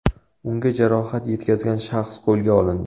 Unga jarohat yetkazgan shaxs qo‘lga olindi.